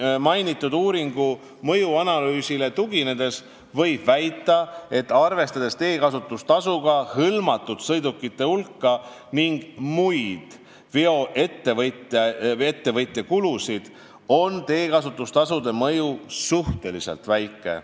Kuid eelmainitud uuringu mõjuanalüüsile tuginedes võib väita, et arvestades teekasutustasuga hõlmatud sõidukite hulka ning muid veoettevõtja kulusid, on teekasutustasu mõju suhteliselt väike.